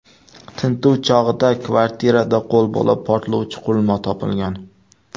Tintuv chog‘ida kvartiradan qo‘lbola portlovchi qurilma topilgan.